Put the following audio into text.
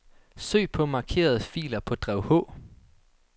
Søg på markerede filer på drev H.